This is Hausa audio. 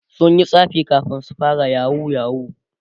sunyi tsafi kamin su fara yahoo yahoo